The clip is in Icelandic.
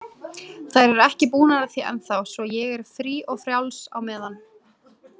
Þær eru ekki búnar að því ennþá, svo ég er frí og frjáls á meðan.